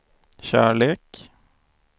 kärlek